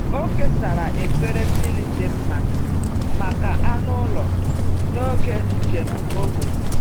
Ọ kesara efere mmiri dị mma maka anụ ụlọ n’oge njem ógbè.